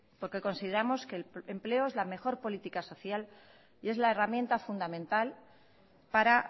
porque consideramos que el empleo es la mejor política social y es la herramienta fundamental para